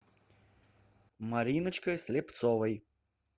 мариночкой слепцовой